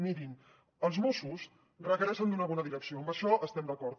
mirin els mossos requereixen una bona direcció en això estem d’acord